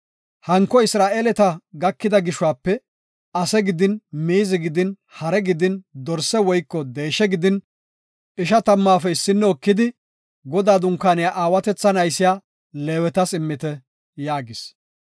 Hanko Isra7eeleta gakida gishuwape, ase gidin miizi gidin hare gidin dorse woyko deeshe gidin ishatammaafe issino ekidi Godaa Dunkaaniya aawatethan aysiya Leewetas immite” yaagis.